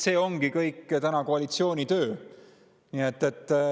See ongi täna koalitsiooni töö.